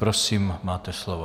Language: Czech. Prosím, máte slovo.